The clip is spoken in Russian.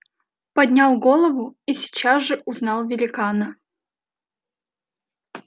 поднял голову и сейчас же узнал великана